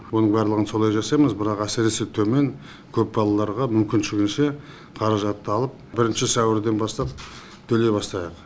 онын барлығын солай жасаймыз бірақ әсіресе төмен көп балаларға мүмкіншілігінше қаражатты алып бірінші сәуірден бастап төлей бастайық